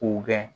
K'u gɛn